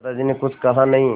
दादाजी ने कुछ कहा नहीं